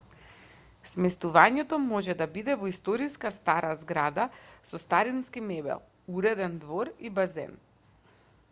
сместувањето може да биде во историска стара зграда со старински мебел уреден двор и базен